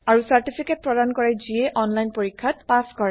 আৰু চাৰ্তিফিকেত প্ৰদান কৰে যিয়ে অনলাইন পৰীক্ষাত পাছ কৰে